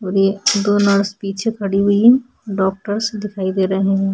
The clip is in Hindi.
और ये दो नर्स पीछे खड़ी हुई हैं डॉक्टर्स दिखायी दे रहे हैं।